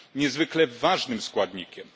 Niezwykle ważnym składnikiem.